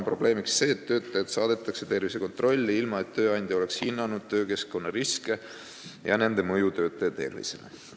Probleemiks on see, et töötaja saadetakse tervisekontrolli, ilma et tööandja oleks hinnanud töökeskkonna riske ja nende mõju töötaja tervisele.